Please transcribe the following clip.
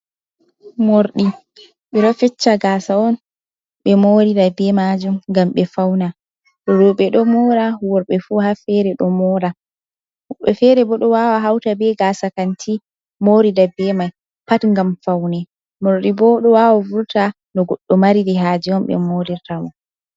Morɗi ɓe ɗo fessa gasa on be morirta be majum ngam be fauna roɓe do mora worɓe fu ha fere bo do woɓɓe fere fu ɗo wawa hauta be gasa kanti morira be mai pat ngam faune mordi bo do wawa vurta no goddo Mariri haje on be morirta mo